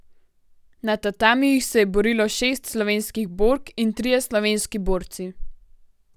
Na tatamijih se je borilo šest slovenskih bork in trije slovenski borci.